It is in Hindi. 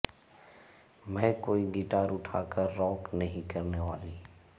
मैं कोई गिटार उठा कर रॉक नहीं करने वाली